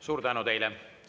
Suur tänu teile!